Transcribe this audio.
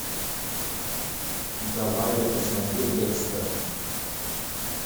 давай я посмотрю декстер